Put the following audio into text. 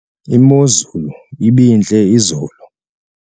imozulu ibintle izolo